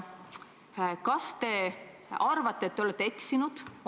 Kas te arvate, et te olete eksinud?